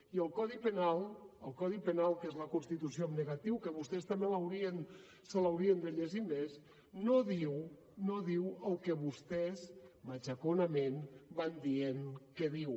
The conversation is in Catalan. i el codi penal el codi penal que és la constitució en negatiu que vostès també se l’haurien de llegir més no diu no diu el que vostès matxaconament van dient que diu